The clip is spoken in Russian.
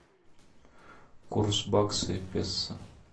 курс бакса и песо